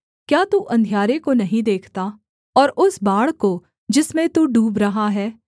क्या तू अंधियारे को नहीं देखता और उस बाढ़ को जिसमें तू डूब रहा है